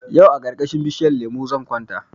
Yau a karkashin bishinyan lemo zan kwanta